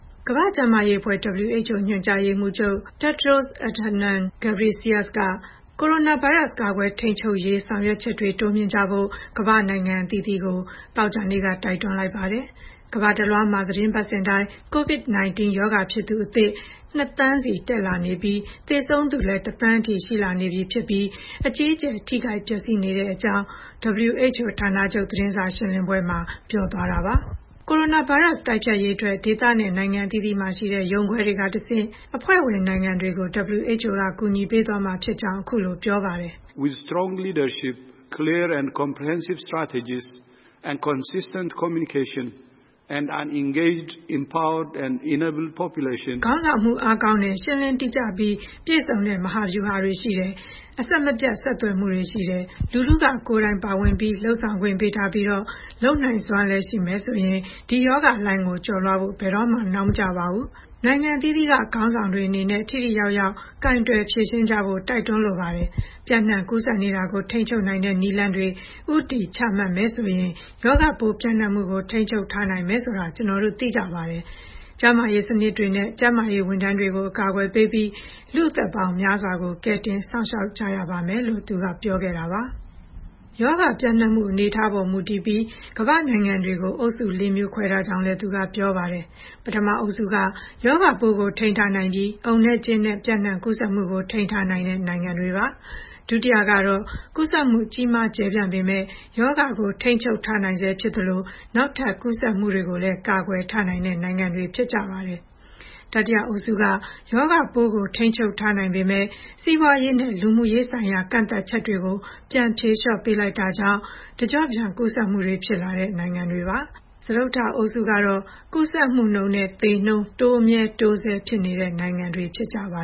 ကမ္ဘာ့ကျန်းမာရေးအဖွဲ့ (WHO) ညွှန်ကြားရေးမှူးချုပ် Tedros Adhanom Ghebreyesus က ကိုရိုနာဗိုင်းရပ်စ် ကာကွယ်ထိန်းချုပ်ရေး ဆောင်ရွက်ချက်တွေ တိုးမြှင့်ကြဖို့ ကမ္ဘာ့နိုင်ငံအသီးသီးကို သောကြာနေ့က တိုက်တွန်းလိုက်ပါတယ်။ ကမ္ဘာတလွှားမှာ သီတင်းပတ်စဉ်တိုင်း COVID-19 ရောဂါဖြစ်သူ အသစ် ၂ သန်းစီ တက်လာနေပြီး သေဆုံးသူလည်း ၁ သန်းအထိ ရှိလာပြီဖြစ်ပြီးတော့ အကြီးအကျယ် ထိခိုက်ပျက်စီးနေရကြောင်း သောကြာနေ့ WHO ဌာနချုပ် သတင်းစာရှင်းလင်းပွဲအတွင်း ဒေါက်တာ Ghebreyesus က ပြောသွားပါတယ်။ ကိုရိုနာဗိုင်းရပ်စ် တိုက်ဖျက်ရေးအတွက် ဒေသနဲ့ နိုင်ငံအသီးသီးမှာရှိတဲ့ ရုံးခွဲတွေကတဆင့် အဖွဲ့ဝင်နိုင်ငံတွေကို WHO က ကူညီပေးသွားမှာဖြစ်ကြောင်း အခုလို ပြောပါတယ်။ “ခေါင်းဆောင်မှု အားကောင်းတယ်၊ ရှင်းလင်းတိကျပြီး ပြီးပြည့်စုံတဲ့ မဟာဗျူဟာတွေ ရှိမယ်၊ အဆက်မပြတ် ဆက်သွယ်မှုရှိမယ်၊ လူထုက ကိုယ်တိုင်ပါဝင်ပြီးတော့ လုပ်ဆောင်ခွင့်ပေးထားပြီး လုပ်နိုင်စွမ်းလည်း ရှိမယ်ဆိုရင် ဒီရောဂါလှိုင်းကို ကျော်လွှားဖို့ ဘယ်တော့မှ နောက်မကျပါဘူး။ နိုင်ငံအသီးသီးက ခေါင်းဆောင်တွေအနေနဲ့ ထိထိရောက်ရောက် ကိုင်တွယ်ဖြေရှင်းကြဖို့ တိုက်တွန်းလိုပါတယ်။ ပျံ့နှံ့ကူးစက်နေတာကို ထိန်းချုပ်နိုင်တဲ့ နည်းလမ်းတွေ ဦးတည်ချမှတ်မယ်ဆိုရင် ရောဂါပိုးပျံ့နှံ့မှုကို ထိန်းချုပ်ထားနိုင်တယ်ဆိုတာ ကျနော်တို့ သိကြပါတယ်။ ကျန်းမာရေးစနစ်တွေနဲ့ ကျန်းမာရေးဝန်ထမ်းတွေကို အကာကွယ်ပေးပြီး လူ့အသက်ပေါင်းများစွာကို ကယ်တင်စောင့်ရှောက်ကြရပါမယ်။” လို့ သူက ပြောခဲ့တာပါ။ ရောဂါပျံ့နှံ့မှု အနေအထားအပေါ်မူတည်ပြီး ကမ္ဘာ့နိုင်ငံတွေကို အုပ်စုလေးမျိုး ခွဲထားကြောင်းလည်း သူက ပြောပါတယ်။ ပထမအုပ်စုက ရောဂါပိုးကို ထိန်းချုပ်ထားနိုင်ပြီး အုံနဲ့ကျင်းနဲ့ ပျံ့နှံ့ကူးစက်မှုကို ထိန်းထားနိုင်တဲ့နိုင်ငံတွေ ဖြစ်ပါတယ်။ ဒုတိယအုပ်စုကတော့ ကူးစက်မှု ကြီးမားကျယ်ပြန့်ပေမယ့် ရောဂါကို ထိန်းချုပ်ထားနိုင်ဆဲဖြစ်သလို နောက်ထပ်ကူးစက်မှုတွေကိုလည်း ကာကွယ်ထားနိုင်တဲ့ နိုင်ငံတွေ ဖြစ်ကြပါတယ်။ တတိယအုပ်စုက ရောဂါပိုးကို ထိန်းချုပ်ထားနိုင်ပေမယ့် စီးပွားရေးနဲ့ လူမှုရေးဆိုင်ရာ ကန့်သတ်ချက်တွေ ပြန်ဖြေလျော့ပေးလိုက်တာကြောင့် တကျော့ပြန် ကူးစက်မှုတွေ ဖြစ်လာတဲ့ နိုင်ငံတွေပါ။ စတုတ္ထအုပ်စုကတော့ ကူးစက်မှုနှုန်းနဲ့ သေနှုန်း တိုးမြဲတိုးဆဲ ဖြစ်နေကြတဲ့နိုင်ငံတွေ ဖြစ်ပါ